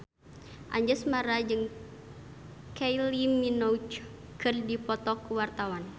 Anjasmara jeung Kylie Minogue keur dipoto ku wartawan